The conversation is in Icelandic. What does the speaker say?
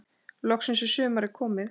Loksins er sumarið komið.